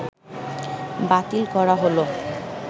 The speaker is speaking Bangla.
বাতিল করা হলো